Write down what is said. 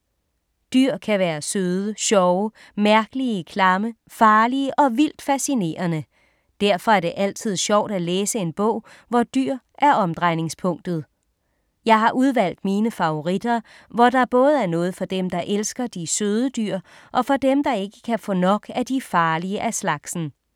Dyr kan være søde, sjove, mærkelige, klamme, farlige og vildt fascinerende. Derfor er det altid sjovt at læse en bog, hvor dyr er omdrejningspunktet. Jeg har udvalgt mine favoritter, hvor der både er noget for dem, der elsker de søde dyr og for dem, der ikke kan få nok af de farlige af slagsen.